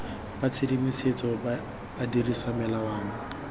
ba tshedimosetso a dirisa melawana